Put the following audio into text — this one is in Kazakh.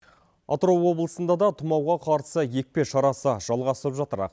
атырау облысында да тымауға қарсы екпе шарасы жалғасып жатыр